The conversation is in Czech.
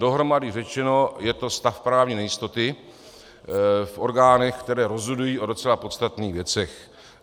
Dohromady řečeno, je to stav právní nejistoty v orgánech, které rozhodují o docela podstatných věcech.